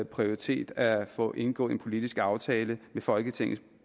prioritet at få indgået en politisk aftale med folketingets